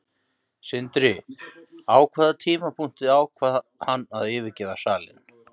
Sindri: Á hvaða tímapunkti ákvað hann að yfirgefa salinn?